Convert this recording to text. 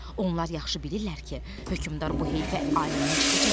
Onlar yaxşı bilirlər ki, hökmdar bu heyfi alimdən çıxacaq.